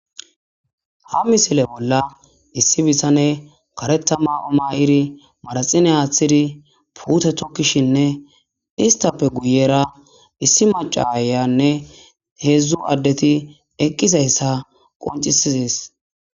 ha misile bolla issi bissane kareta ma7o ma7iri maraxine aaththidi puute tokkishinne istappe guyera issi macayanne heedzdzu addeti eqqise hessa qoncisizis